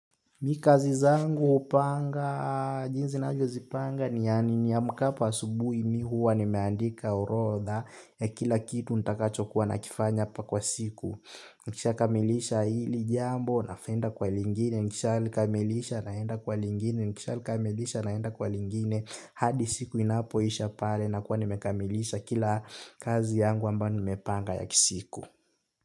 Mi kazi zangu hupanga jinsi navyozipanga ni niamkapo asubuhi mi huwa nimeandika orodha ya kila kitu nitakachokuwa nakifanya pa kwa siku. Nikishakamilisha hili jambo naenda kwa lingine nikishakamilisha naenda kwa lingine nikishakamilisha naenda kwa lingine. Hadi siku inapoisha pale nakuwa nimekamilisha kila kazi yangu ambayo nimepanga ya kisiku.